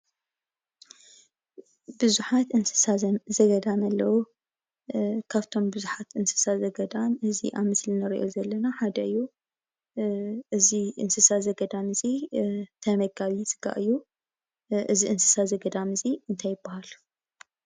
ብዙሓት እንስሳ ዘገዳም ኣለው፡፡ ካብቶም ብዙሓት እንስሳ ዘገዳም እዚ ኣብ ምስሊ ንሪኦ ዘለና ሓደ እዩ፡፡ እዚ እንስሳ ዘገዳም እዚ ተመጋቢ ስጋ እዩ፡፡ እዚ እንስሳ ዘገዳም እዚ እንታይ ይባሃል፡፡